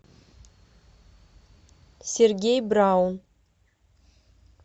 сергей браун